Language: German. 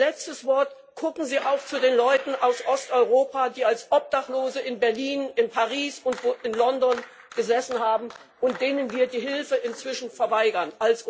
Mein letztes Wort Gucken Sie auch zu den Leuten aus Osteuropa, die als Obdachlose in Berlin, in Paris und in London gesessen haben und denen wir als Union die Hilfe inzwischen verweigern.